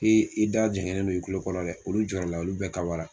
i da jɛngɛnnen no i kulo kɔrɔ dɛ olu jɔɔrɔ la olu bɛɛ kawa la.